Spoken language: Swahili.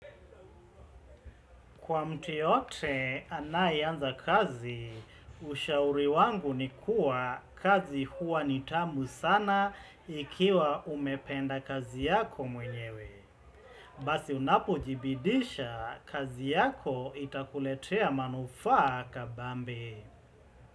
Kwa mtu yeyote anayeanza kazi, ushauri wangu ni kuwa kazi huwa nitamu sana ikiwa umependa kazi yako mwenyewe. Basi unapojibidisha kazi yako itakuletea manufaa kabambe.